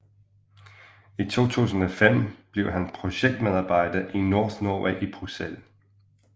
I 2005 blev han projektmedarbejder i NorthNorway i Bruxelles